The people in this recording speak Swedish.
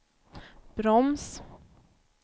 broms